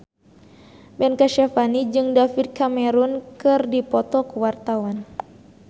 Ben Kasyafani jeung David Cameron keur dipoto ku wartawan